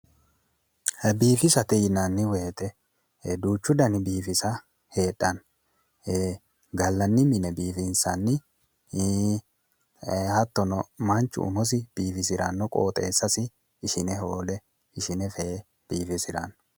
Biifisate yinnanni woyte duuchu danni biifisa heedhano mite gallanni mine biifinsanni hattono manchu umosi biifisano qoxxeesasi ishine hoole fee biifisirano